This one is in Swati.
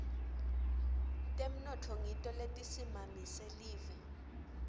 temnotfo ngito letisimamise live